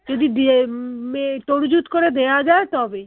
যদি দিয়ে উম এ তরুযুত করে দেওয়া যায় তবেই